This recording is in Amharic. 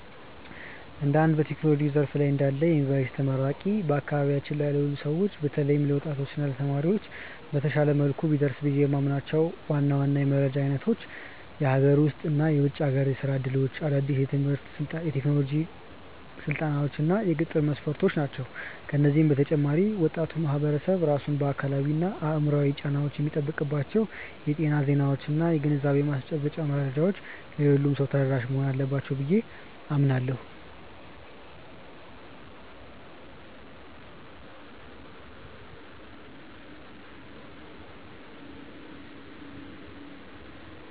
እንደ አንድ በቴክኖሎጂው ዘርፍ ላይ እንዳለ የዩኒቨርሲቲ ተመራቂ፣ በአካባቢያችን ላሉ ሰዎች በተለይም ለወጣቶች እና ለተማሪዎች በተሻለ መልኩ ቢደርሱ ብዬ የምመኛቸው ዋና ዋና የመረጃ አይነቶች የሀገር ውስጥ እና የውጭ ሀገር የሥራ ዕድሎች፣ አዳዲስ የቴክኖሎጂ ስልጠናዎች እና የቅጥር መስፈርቶች ናቸው። ከዚህ በተጨማሪ ወጣቱ ማህበረሰብ ራሱን ከአካላዊና አእምሯዊ ጫናዎች የሚጠብቅባቸው የጤና ዜናዎችና የግንዛቤ ማስጨበጫ መረጃዎች ለሁሉም ሰው ተደራሽ መሆን አለባቸው ብዬ አምናለሁ።